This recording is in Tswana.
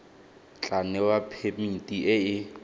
tla newa phemiti e e